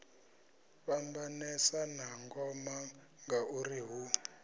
fhambanesa na ngoma ngauri hu